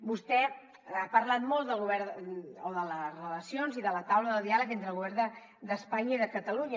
vostè ha parlat molt del govern o de les relacions i de la taula de diàleg entre el govern d’espanya i de catalunya